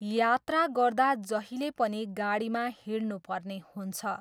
यात्रा गर्दा जहिले पनि गाडीमा हिँड्नुपर्ने हुन्छ।